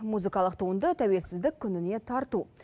музыкалық туынды тәуелсіздік күніне тарту